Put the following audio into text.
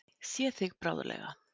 Sé þig bráðlega.